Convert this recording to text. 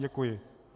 Děkuji.